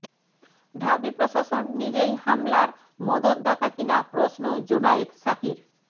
ঢাবি প্রশাসন নিজেই হামলার মদদদাতা কিনা প্রশ্ন জোনায়েদ সাকির